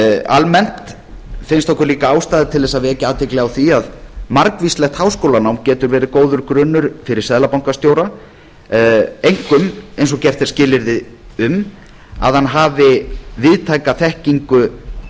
almennt finnst okkur líka ástæða til þess að vekja athygli á því að margvíslegt háskólanám getur verið góður grunnur fyrir seðlabankastjóra einkum eins og gert er skilyrði um að hann hafi víðtæka þekkingu